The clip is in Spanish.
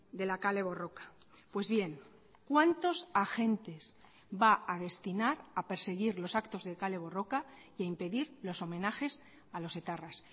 de la kale borroka pues bien cuántos agentes va a destinar a perseguir los actos de kale borroka y a impedir los homenajes a los etarras